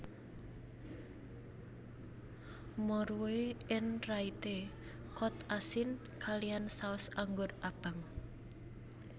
Morue en Rayte kod asin kaliyan saus anggur abang